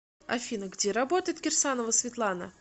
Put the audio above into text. афина где работает кирсанова светлана